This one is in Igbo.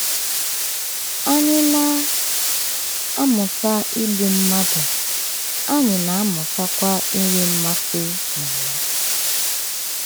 Anyị na - amụta igbu mmadụ, anyị na - amụtakwa inwe mmasị na ya. ”